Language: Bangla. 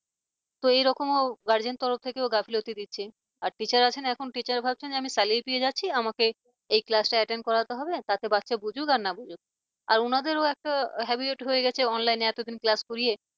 তো এরকমও guardian তরফ থেকেও গাফিলতি দিচ্ছে আর teacher আছো না এখন teacher ভাবছেন আমি salary পেয়ে যাচ্ছি আমাকে এই classattend করাতে হবে তাতে বাচ্ছা বুঝুক আর না বুঝুক আর ওনাদেরও একটা habit হয়ে গেছে online এতদিন class করিয়ে